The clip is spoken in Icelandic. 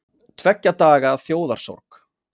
Tveggja daga þjóðarsorg